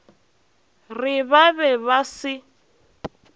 re ba be ba se